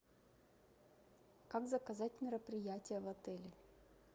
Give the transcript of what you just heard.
как заказать мероприятие в отеле